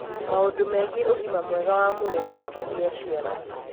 maũndũ megiĩ ũgima mwega wa mwĩrĩ wa kugĩa ciana